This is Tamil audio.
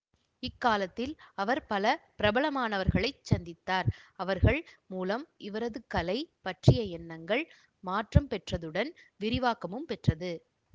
இக்காலத்தில் அவர் பல பிரபலமானவர்களைச் சந்தித்தார் அவர்கள் மூலம் இவரது கலை பற்றிய எண்ணங்கள் மாற்றம் பெற்றதுடன் விரிவாக்கமும் பெற்றது